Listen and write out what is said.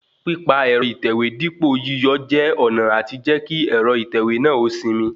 Pípa ẹ̀rọ ìtẹ̀wé dípo yíyọọ́ jẹ́ ọ̀nà àti jẹ́ kí ẹ̀rọ ìtẹ̀wé náà ó sinmi